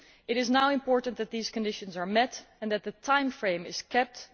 It is now important that these conditions are met and that the timeframe is kept.